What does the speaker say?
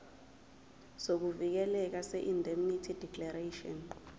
sokuvikeleka seindemnity declaration